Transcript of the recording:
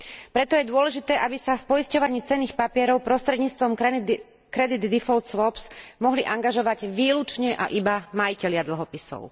Preto je dôležité, aby sa v poisťovaní cenných papierov prostredníctvom credit default swaps mohli angažovať výlučne a iba majitelia dlhopisov.